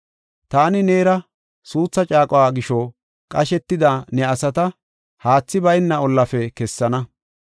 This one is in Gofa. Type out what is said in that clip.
Taani neera suutha caaquwa gisho, qashetida ne asata haathi bayna ollaafe kessana.